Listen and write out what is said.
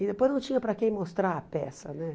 E depois não tinha para quem mostrar a peça, né?